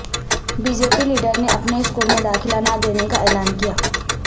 be J P لیڈرنے اپنے school میں داخلہ نہ لینے کا اعلان کیا